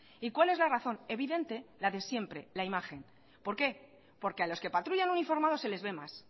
y cuál es la razón evidente la de siempre la imagen por qué porque a los que patrullan uniformados se les ve más